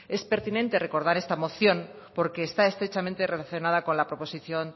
es pertinente recordar esta moción porque está estrechamente relacionada con la proposición